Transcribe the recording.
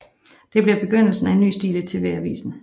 Det bliver til begyndelsen af en ny stil i TV avisen